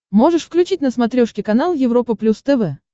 можешь включить на смотрешке канал европа плюс тв